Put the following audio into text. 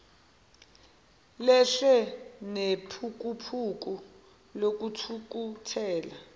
lehle nephukuphuku lokuthukuthela